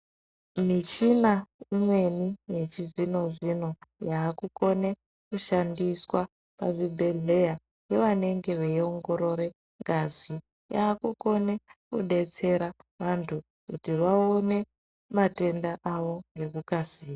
Michina imweni yechizvino zvino yakukona kushandiswa pachibhedhlera yevanenge veiongorora ngazi yakukone kudetsera antu kuti vaone matenda awo ngekukasira.